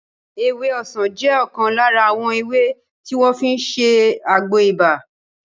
Ewé ọsàn jẹ́ ọ̀kan lára àwọn ewé tí wọ́n fi ń ṣe àgbo ibà